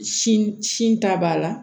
Sin sin ta b'a la